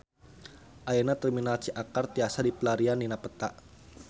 Ayeuna Terminal Ciakar tiasa dipilarian dina peta